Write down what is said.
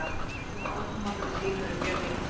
Áhrif af áframhaldandi hlýnun eru mjög mikil.